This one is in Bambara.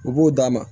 U b'o d'a ma